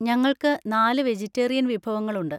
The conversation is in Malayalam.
ഞങ്ങൾക്ക് നാല് വെജിറ്റേറിയൻ വിഭവങ്ങളുണ്ട്.